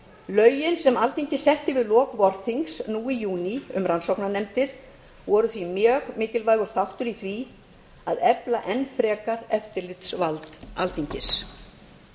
lögin sem alþingi setti við lok vorþings nú í júní um rannsóknarnefndir voru því mjög mikilvægur þáttur í því að efla enn frekar eftirlitsvald alþingis